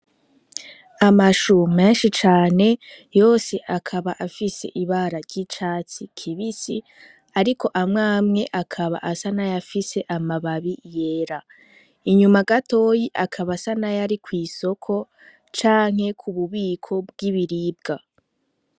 Amashu menshi cane yose akaba afise ibara ry'icatsi kibisi, ariko amwe amwe akaba asa n'ayafise amababi yera inyuma gatoyi akaba asa n'ayari kw'isoko canke kububiko bw'ibiribwa.